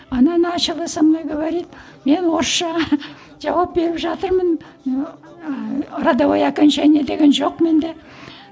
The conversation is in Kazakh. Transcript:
она начала со мной говорит мен орысшаға жауап беріп жатырмын ыыы родовое окончание деген жоқ менде